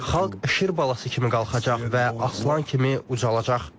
Xalq şir balası kimi qalxacaq və aslan kimi ucalacaq.